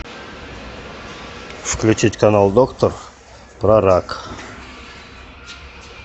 включить канал доктор про рак